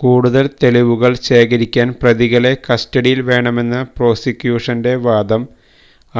കൂടുതൽ തെളിവുകൾ ശേഖരിക്കാൻ പ്രതികളെ കസ്റ്റഡിയിൽ വേണമെന്ന പ്രോസിക്യൂഷന്റെ വാദം